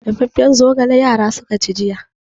Dafaffen zogala yara suka ci jiya.